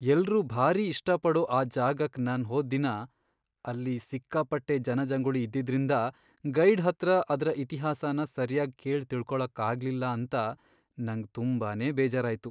ಎಲ್ರೂ ಭಾರೀ ಇಷ್ಟಪಡೋ ಆ ಜಾಗಕ್ ನಾನ್ ಹೋದ್ ದಿನ ಅಲ್ಲಿ ಸಿಕ್ಕಾಪಟ್ಟೆ ಜನಜಂಗುಳಿ ಇದ್ದಿದ್ರಿಂದ ಗೈಡ್ ಹತ್ರ ಅದ್ರ ಇತಿಹಾಸನ ಸರ್ಯಾಗ್ ಕೇಳ್ ತಿಳ್ಕೊಳಕ್ಕಾಗ್ಲಿಲ್ಲ ಅಂತ ನಂಗ್ ತುಂಬಾನೇ ಬೇಜಾರಾಯ್ತು.